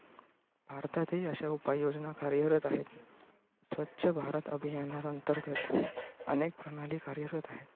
भारतातही अशा उपाययोजना कार्यरत आहेत. स्वच्छ भारत अभियाना अंतर्गत अनेक प्रणाली कार्यरत आहेत.